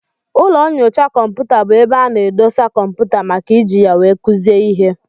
Ụlọ nnyocha kọmputa bụ ebe ana edosa kọmputa màkà iji ya wee kuzie ihe.